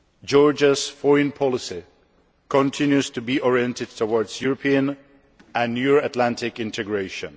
Georgia's foreign policy continues to be oriented towards European and Euro Atlantic integration.